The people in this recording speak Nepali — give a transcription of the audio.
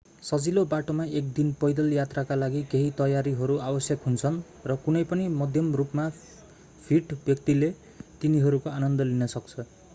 सजिलो बाटोमा एक दिने पैदल यात्राका लागि केही तयारीहरू आवश्यक हुन्छन् र कुनै पनि मध्यम रूपमा फिट व्यक्तिले तिनीहरूको आनन्द लिन सक्छ